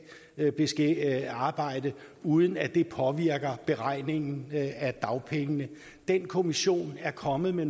arbejde uden at det påvirker beregningen af dagpengene den kommission er kommet med